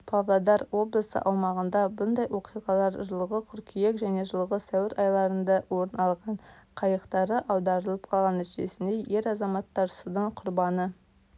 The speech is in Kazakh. павлодар облысы аумағында бұндай оқиғалар жылғы қыркүйек және жылғы сәуір айларында орын алған қайықтары аударылып қалған нәтижесінде ер азаматтар судың құрбаны